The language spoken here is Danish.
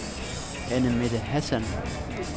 Anne-Mette Hassan